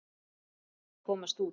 Hann varð að komast út.